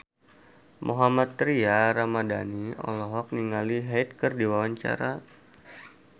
Mohammad Tria Ramadhani olohok ningali Hyde keur diwawancara